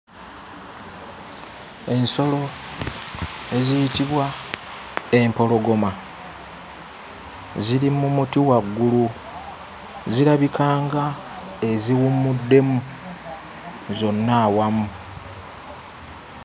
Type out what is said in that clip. Ensolo eziyitibwa empologoma ziri mu muti waggulu. Zirabika ng'eziwummuddemu zonna awamu.